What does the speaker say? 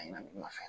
A ɲina